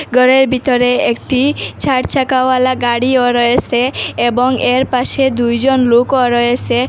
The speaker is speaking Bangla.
ঘরের ভিতরে একটি চারচাকাওয়ালা গাড়িও রয়েছে এবং এর পাশে দুইজন লোকও রয়েছে।